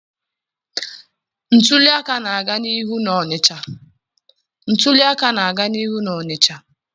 Ntuli aka na-aga n'ihu na Onịcha.